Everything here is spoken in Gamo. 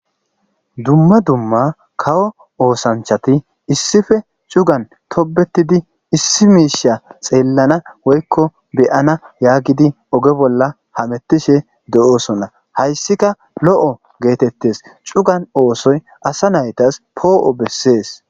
Dumma dumma kawo oosanchati issippe cugan toobettidi issi miisha tseellana woyko be'ana yaagidi ogo bolla hamettishe doosona. Haysika lo'o getettis cuga oosoy asa naytassi po'o bessees.